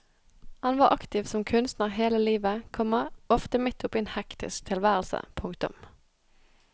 Han var aktiv som kunstner hele livet, komma ofte midt oppe i en hektisk tilværelse. punktum